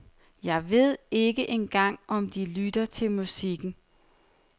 Jeg ved ikke engang om de lytter til musikken.